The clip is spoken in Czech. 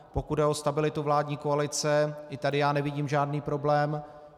Pokud jde o stabilitu vládní koalice, ani tady já nevidím žádný problém.